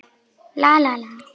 Ég skrifa bréf!